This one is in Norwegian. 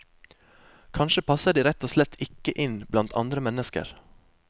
Kanskje passer de rett og slett ikke inn blant andre mennesker.